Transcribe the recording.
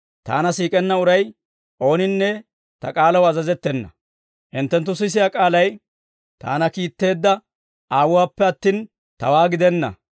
Taana siik'enna uray ooninne Ta k'aalaw azazettena; hinttenttu sisiyaa k'aalay Taana kiitteedda Aawuwaappe attin, Tawaa gidenna.